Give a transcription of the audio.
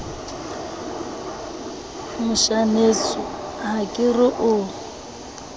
moshaneso ha ke re o